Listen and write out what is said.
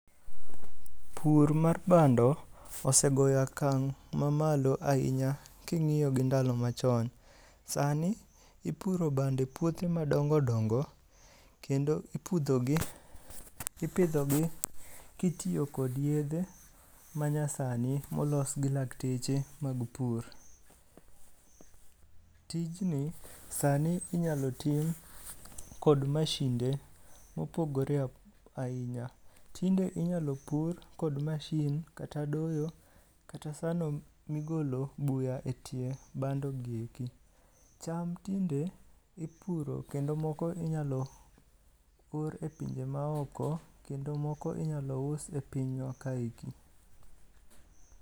Pur mar bando, osegoyo akang' mamalo ahinya ki ng'iyo gi ndalo machon. Sani, ipuro bando e puothe madongo madongo kendo ipudho gi, ipidho gi kitiyo kod yedhe manyasani molos gi lakteche mag pur. Tijni sani inyalo tim kod mashinde mopogore ahinya. Tinde inyalo pur kod machine kata doyo kata sano migolo buya e tie bando gi eki. Cham tinde ipuro kendo moko inyalo pur e pinje ma oko kendo moko inyalo us e pinywa ka eki.